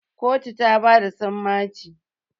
kotu ta bada sammaci